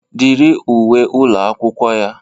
Dịrị uwe ụlọ akwụkwọ ya.